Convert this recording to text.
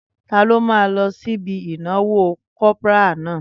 Taló máa lọ sí ibi ìnáwó kopara náà?